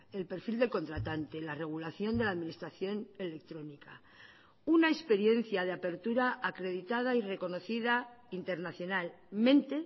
el perfil del contratante la regulación de la administración electrónica una experiencia de apertura acreditada y reconocida internacionalmente